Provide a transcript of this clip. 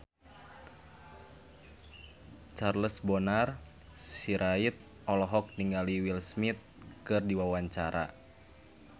Charles Bonar Sirait olohok ningali Will Smith keur diwawancara